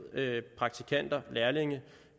praktikanter lærlinge